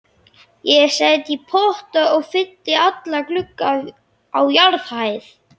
Ég set í potta og fylli alla glugga á jarðhæð.